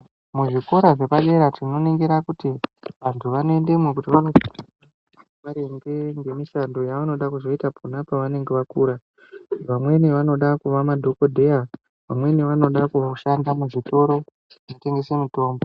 Muzvikora zvepadera tinoningira kuti vantu vanoendamo maringe nemushando yavanoda kuzoita pona pavanenge vakura vamweni vanoda kuva madhokodheya vamweni vanoda kushanda muzvitoro kutengese mutombo.